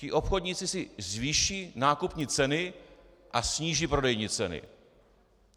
Ti obchodníci si zvýší nákupní ceny a sníží prodejní ceny.